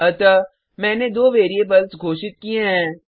अतः मैंने दो वेरिएबल्स घोषित किये हैं